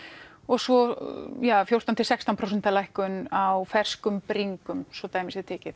og svo fjórtán til sextán prósenta lækkun á ferskum bringum svo dæmi séu tekin